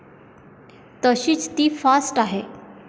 तशीच ती फास्ट आहे.